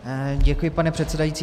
Děkuji, pane předsedající.